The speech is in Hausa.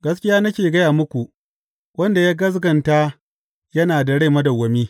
Gaskiya nake gaya muku, wanda ya gaskata yana da rai madawwami.